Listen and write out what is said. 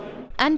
enn